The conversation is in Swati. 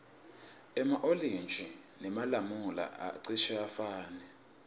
ema olintji nemalamula acishe afane